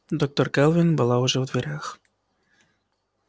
доктор кэлвин была уже в дверях